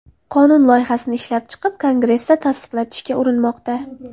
Qonun loyihasini ishlab chiqib, Kongressda tasdiqlatishga urinmoqda.